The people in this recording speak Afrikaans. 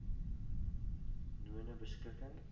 nonebeskikking